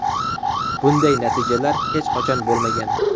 Bunday natijalar hech qachon bo‘lmagan.